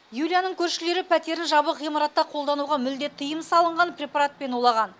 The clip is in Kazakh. юлияның көршілері пәтерін жабық ғимаратта қолдануға мүлдем тыйым салынған препаратпен улаған